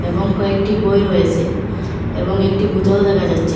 এবং কয়েকটি বই রয়েসে এবং একটি বোতল দেখা যাচ্ছে।